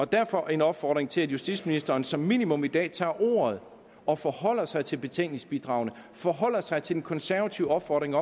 derfor en opfordring til at justitsministeren som minimum i dag tager ordet og forholder sig til betænkningsbidragene og forholder sig til de konservatives opfordring